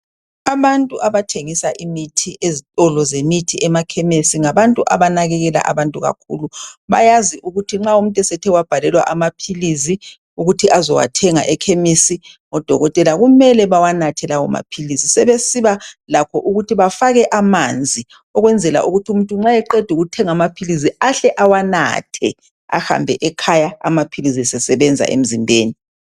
Abantu abathengisa imithi ezitolo zemithi, emakhemisi, ngabantu abanakekelayo abantu kakhulu. Bayazi ukuthi nxa umuntu esethe wabhalelwa amaphilizi ukuthi azowathenga ekhemisi, ngodokotela, kumele bawanathe lawo maphilizi, sebesiba lakho ukuthi bafake amanzi ukwenzela ukuthi umuntu nxa eqeda utheng' amaphilizi ahle awanathe, ehambe ekhaya amaphilizi sesebenza emzimbeni.